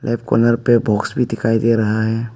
Corner पे box भी दिखाई दे रहा है।